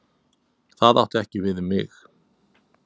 Það átti ekki við um mig.